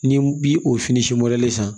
Ni bi o fini san